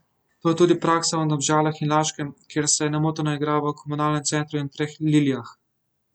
To je tudi praksa v Domžalah in Laškem, kjer se nemoteno igra v Komunalnem centru in Treh lilijah.